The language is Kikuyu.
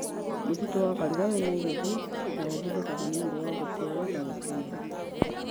Mũtitũ wa Karura wĩ Nairobi na ũhũthĩkaga nĩ ũndũ wa gũceera na gũkenera.